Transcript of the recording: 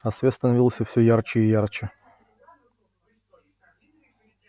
а свет становился все ярче и ярче